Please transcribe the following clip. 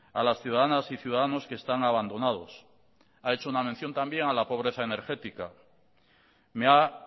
a las ciudadanas y ciudadanos que están abandonados ha hecho una mención también a la pobreza energética me ha